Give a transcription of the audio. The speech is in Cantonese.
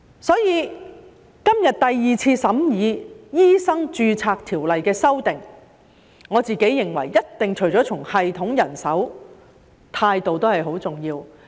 因此，今天第二次審議《醫生註冊條例》的修訂，我認為除了系統及人手外，態度亦一定很重要。